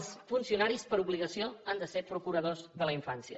els funcionaris per obligació han de ser procuradors de la infància